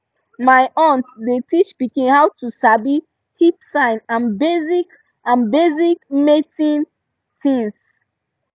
my aunt dey teach pikin how to sabi heat sign and basic and basic mating things